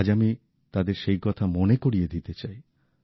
আজ আমি তাদের সেই কথা মনে করিয়ে দিতে চাই